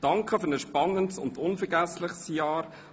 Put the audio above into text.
Danke für ein spannendes und unvergessliches Jahr!